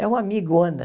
É uma amigona.